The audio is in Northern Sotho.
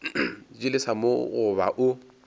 di lesa mo goba o